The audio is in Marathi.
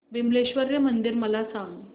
विमलेश्वर मंदिर मला सांग